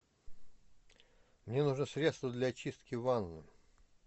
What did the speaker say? мне нужно средство для очистки ванны